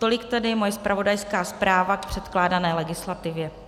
Tolik tedy moje zpravodajská zpráva k předkládané legislativě.